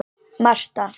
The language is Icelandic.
Marta